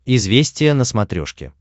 известия на смотрешке